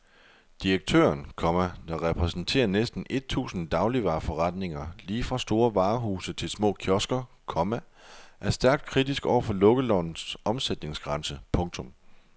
Direktøren, komma der repræsenterer næsten et tusind dagligvareforretninger lige fra store varehuse til små kiosker, komma er stærkt kritisk over for lukkelovens omsætningsgrænse. punktum